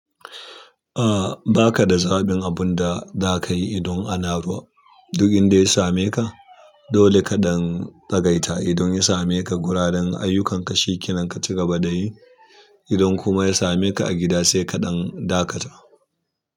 A ba ka da zaɓin abun da za ka yi idon ana ruwa. Duk inda ya same ka dole kaɗan tsagaita. Idan ya same ka guraren ayyukanka, shekinanka ci gaba da yi. Idan kuma ya same ka a gida sai kaɗan dakata.